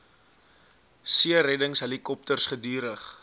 seereddings helikopters gedurig